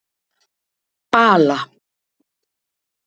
Bala